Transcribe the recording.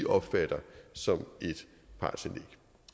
opfatter som et partsindlæg